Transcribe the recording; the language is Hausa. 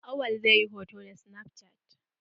Awwal zai yi hoto da snaf cat.